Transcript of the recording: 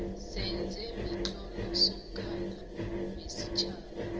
sezemitlolo somkhandlu wesitjhaba